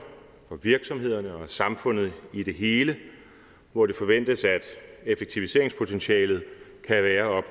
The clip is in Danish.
virksomhederne og samfundet i det hele og det forventes at effektiviseringspotentialet kan være